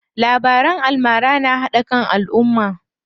Labaran almara na haɗa kan alumma.